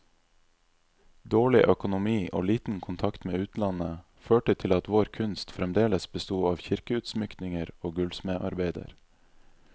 Dårlig økonomi og liten kontakt med utlandet, førte til at vår kunst fremdeles besto av kirkeutsmykninger og gullsmedarbeider.